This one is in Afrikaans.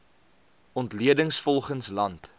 ontleding volgens land